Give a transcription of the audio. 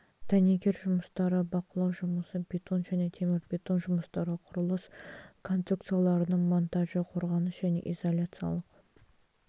дәнекер жұмыстары бақылау жұмысы бетон және темірбетон жұмыстары құрылыс конструкцияларының монтажы қорғаныс және изоляциялық